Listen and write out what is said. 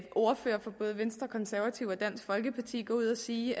ordførere for både venstre konservative og dansk folkeparti gå ud at sige